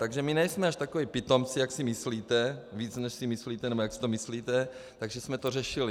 Takže my nejsme až takoví pitomci, jak si myslíte, víc než si myslíte, nebo jak si to myslíte, takže jsme to řešili.